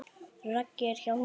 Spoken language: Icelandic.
Raggi er hjá honum.